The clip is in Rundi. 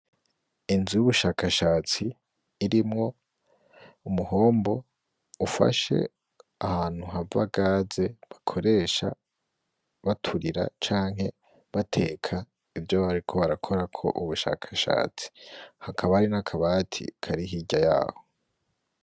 Inzu y'ubushakashatsi, irimwo umuhombo ufashe ahantu hava gaze bakoresha baturira canke bateka, nivyo bariko barakorako ubushakashatsi. Hakaba hari n'akabati kari hirya y'aho.